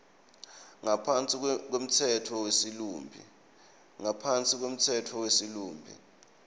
ngaphansi kwemtsetfo wesilumbi